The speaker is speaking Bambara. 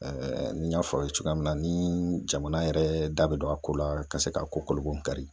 n y'a fɔ aw ye cogoya min na, ni jamana yɛrɛ da be don a ko la ka se ka ko kolobo kari